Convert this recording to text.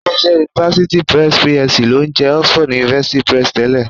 Ilé-iṣẹ́ University Press PLC ló ń jẹ́ Oxford University Press tẹ́lẹ̀